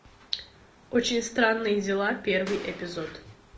очень странные дела первый эпизод